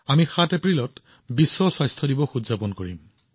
আমি ৭ এপ্ৰিলত বিশ্ব স্বাস্থ্য দিৱস উদযাপন কৰিম